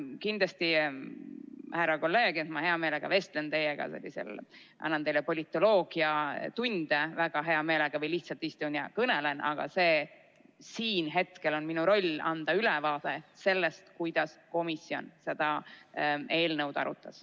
Kindlasti, härra kolleeg, ma väga hea meelega vestlen teiega, annan teile politoloogiatunde või lihtsalt istun ja kõnelen, aga siin on hetkel minu roll anda ülevaade sellest, kuidas komisjon seda eelnõu arutas.